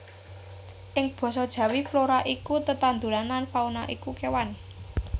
Ing basa Jawi flora iku tetandhuran lan fauna iku kewan